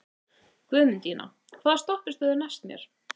Guðmundína, hvaða stoppistöð er næst mér?